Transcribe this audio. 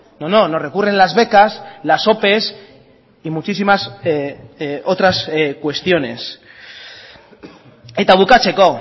no no nos recurren las becas las ope y muchísimas otras cuestiones eta bukatzeko